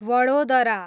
Vadodara